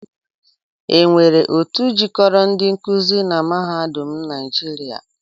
E nwere otu jikoro ndi nkuzi na mahadum naịjịria?